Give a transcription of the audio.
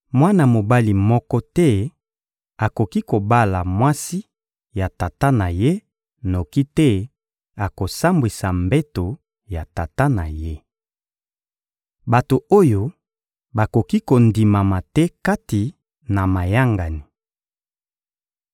Mwana mobali moko te akoki kobala mwasi ya tata na ye, noki te akosambwisa mbeto ya tata na ye. Bato oyo bakoki kondimama te kati na mayangani